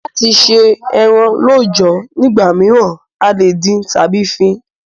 Láti se eran lọ́jọ̀ nígbà míràn, a lè dín tábí fín